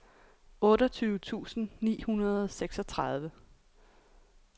otteogtyve tusind ni hundrede og seksogtredive